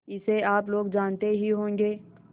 इसे आप लोग जानते ही होंगे